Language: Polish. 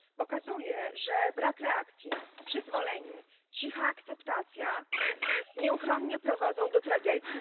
Pokazuje, że brak reakcji, przyzwolenie, cicha akceptacja nieuchronnie prowadzą do tragedii.